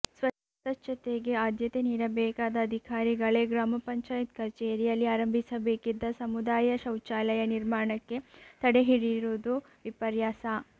ಸ್ವತ್ಛತೆಗೆ ಆದ್ಯತೆ ನೀಡಬೇಕಾದ ಅಧಿಕಾರಿಗಳೇ ಗ್ರಾಪಂ ಕಚೇರಿಯಲ್ಲಿ ಆರಂಭಿಸಬೇಕಿದ್ದ ಸಮುದಾಯ ಶೌಚಾಲಯ ನಿರ್ಮಾಣಕ್ಕೆ ತಡೆ ಹಿಡಿದಿರುವುದು ವಿಪರ್ಯಾಸ